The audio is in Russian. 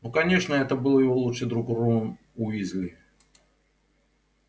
ну конечно это был его лучший друг рон уизли